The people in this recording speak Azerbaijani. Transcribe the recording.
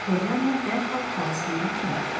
Polyana dərhal xalası dediyi kimi etdi.